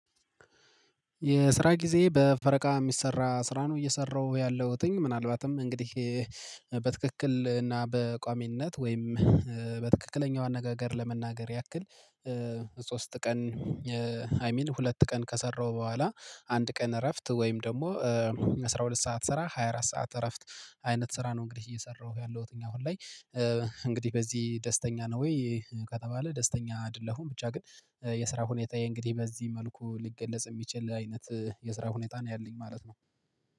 የስራ ጊዜ በፈረቃ የሚሰራ ስራ ነው እየሰራሁ ያለሁትኝ ምናልባትም እንግዲህ በትክክል እና በቋሚነት ወይም በትክክለኛው አነጋገር ለመናገር ያክል። ሶስት ቀን አይሚን ሁለት ቀን ከሰራው በኋላ አንድ ቀን እረፍት ወይም ደግሞ አስራ ሁለት ሰዓት ስራ ሃያ አራት ሰዓት እረፍት አይነት ስራ ነው። እንግዲህ እየሰራሁ ያለሁት እኛ አሁን ላይ። እንግዲህ በዚህ ደስተኛ ነው ወይ? ከተባለ ደስተኛ አይደለሁም ብቻ ግን የስራ ሁኔታዬ እንግዲህ በዚህ መልኩ ሊገለጽ የሚችል አይነት የስራ ሁኔታ ነው ያለኝ ማለት ነው